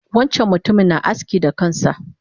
Wancan mutumin na aski da kansa